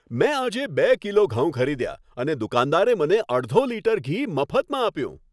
મેં આજે બે કિલો ઘઉં ખરીદ્યા અને દુકાનદારે મને અડધો લિટર ઘી મફતમાં આપ્યું.